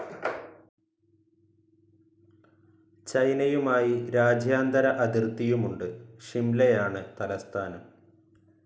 ചൈനയുമായി രാജ്യാന്തര അതിർത്തിയുമുണ്ട് ഷിംലയാണ് തലസ്ഥാനം.